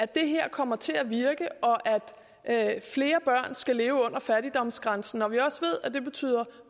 det her kommer til at virke og at at flere børn skal leve under fattigdomsgrænsen når vi også ved at det betyder